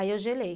eu gelei.